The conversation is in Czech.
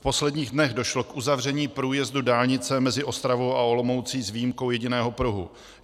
V posledních dnech došlo k uzavření průjezdu dálnice mezi Ostravou a Olomoucí s výjimkou jediného pruhu.